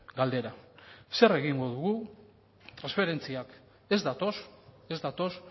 galdera zer egingo dugu transferentziak ez datoz ez datoz